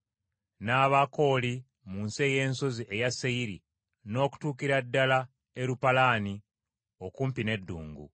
n’Abakooli mu nsi ey’ensozi eya Seyiri n’okutuukira ddala Erupalaani okumpi n’eddungu.